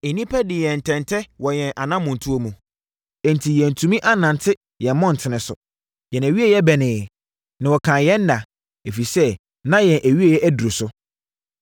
Nnipa dii yɛn ntɛntɛ wɔ yɛn anammɔntuo mu, enti yɛantumi annante yɛn mmɔntene so. Yɛn awieeɛ bɛneeɛ, na wɔkanee yɛn nna, ɛfiri sɛ na yɛn awieeɛ aduru so.